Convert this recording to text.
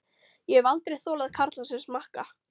Ég hef aldrei þolað karla sem smakka.